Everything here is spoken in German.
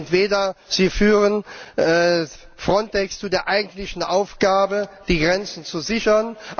Entweder Sie führen Frontex zu der eigentlichen Aufgabe, die Grenzen zu sichern